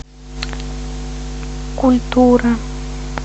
культура